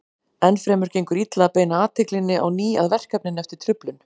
Enn fremur gengur illa að beina athyglinni á ný að verkefninu eftir truflun.